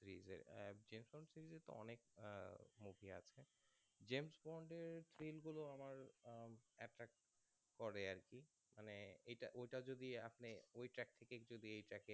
james bond এর thrill গুলো আমার attract করে আরকি মানে এটা ঐটা যদি আপনি ওই track থেকে যদি এই track